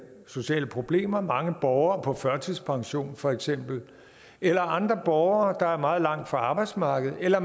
sociale problemer mange borgere på førtidspension for eksempel eller andre borgere der er meget langt væk fra arbejdsmarkedet eller